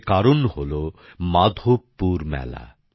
এর কারণ হলো মাধবপুর মেলা